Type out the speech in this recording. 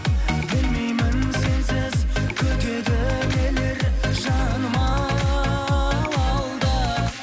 білмеймін сенсіз күтеді нелер жаным ау алда